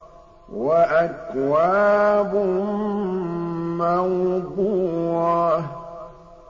وَأَكْوَابٌ مَّوْضُوعَةٌ